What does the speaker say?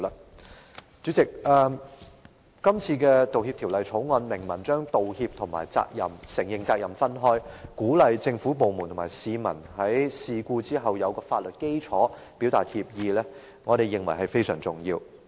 代理主席，今次的《條例草案》明文將道歉和承認責任分開，以提供法律基礎，鼓勵政府部門和市民在事故發生後，表達歉意，我們認為是非常重要的。